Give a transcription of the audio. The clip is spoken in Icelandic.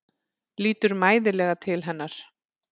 Lítur mæðulega til hennar.